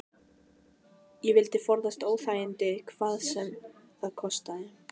Ég vildi forðast óþægindi hvað sem það kostaði.